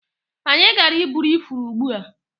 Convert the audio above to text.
Anyị gara iburu ifuru ugbua.